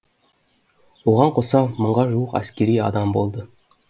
оған қоса мыңға жуық әскери адам болды